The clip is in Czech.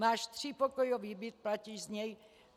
Máš třípokojový byt, platíš z něj.